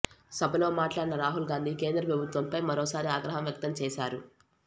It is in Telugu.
సభలో మాట్లాడిన రాహుల్ గాంధీ కేంద్ర ప్రభుత్వంపై మరోసారి ఆగ్రహం వ్యక్తం చేశారు